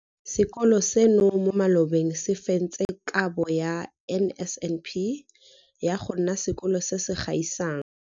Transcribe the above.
Sekolo seno mo malobeng se fentse Kabo ya NSNP ya go nna Sekolo se se Gaisang.